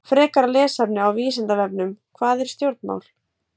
Frekara lesefni á Vísindavefnum: Hvað eru stjórnmál?